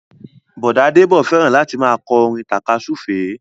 Bọ̀dá Débọ̀ fẹ́ràn láti máa kọ́ orin tàka súfèé